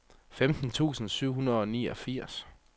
femten tusind syv hundrede og niogfirs